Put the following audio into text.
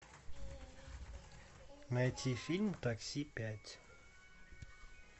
найти фильм такси пять